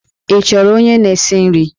Ị chọrọ onye na-esi nri?